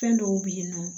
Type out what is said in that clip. Fɛn dɔw bɛ yen nɔ